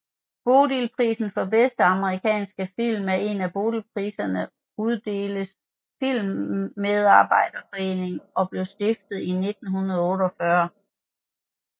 Bodilprisen for bedste amerikanske film er en af Bodilpriserne uddeles af Filmmedarbejderforeningen og blev stiftet i 1948